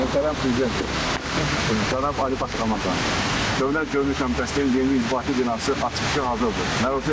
Ölkənin birinci Dövlət Gömrük Komitəsinin yeni inzibati binası açıqlığı hazırdır.